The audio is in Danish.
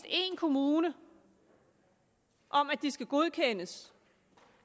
en kommune om at de skal godkendes